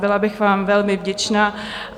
Byla bych vám velmi vděčná.